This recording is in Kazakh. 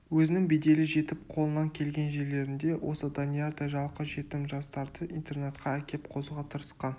өзінің беделі жетіп қолынан келген жерлерінде осы даниярдай жалқы-жетім жастарды интернатқа әкеп қосуға тырысқан